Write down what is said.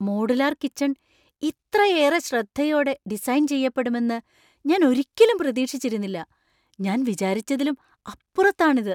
Modular kitchen ഇത്രയേറെ ശ്രദ്ധയോടെ design ചെയ്യപ്പെടുമെന്ന് ഞാൻ ഒരിക്കലും പ്രതീക്ഷിച്ചിരുന്നില്ല! ഞാൻ വിചാരിച്ചതിലും അപ്പുറത്താണ് ഇത് .